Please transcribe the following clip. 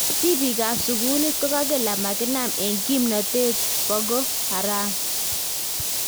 Tibiikab sukuuliit kokakel amakinaam en kimnatet Boko Haram